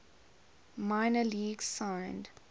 minor leagues signed